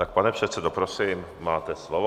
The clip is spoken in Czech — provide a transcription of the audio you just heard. Tak, pane předsedo, prosím, máte slovo.